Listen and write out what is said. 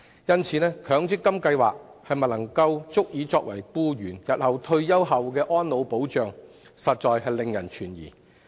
因此，強積金計劃是否足以作為僱員的退休保障，實在令人懷疑。